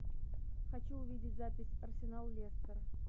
хочу увидеть запись арсенал лестер